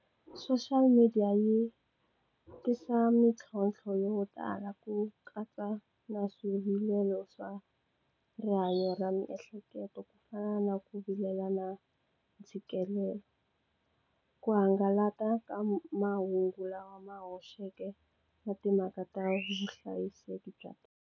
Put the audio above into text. Social media yi tisa mitlhontlho yo tala ku katsa na swivilelo swa rihanyo ra miehleketo ku fana na ku vilela na ntshikelelo ku hangalaka ka mahungu lama hoxeke na timhaka ta vuhlayiseki bya .